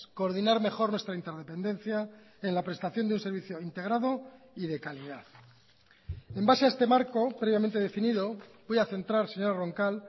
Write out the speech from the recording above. coordinar mejor nuestra interdependencia en la prestación de un servicio integrado y decalidad en base a este marco previamente definido voy a centrar señora roncal